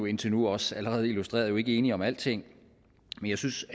indtil nu også allerede illustreret ikke enige om alting men jeg synes